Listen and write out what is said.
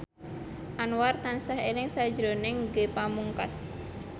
Anwar tansah eling sakjroning Ge Pamungkas